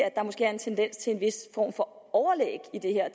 at der måske er en tendens til en vis form for overlæg i det her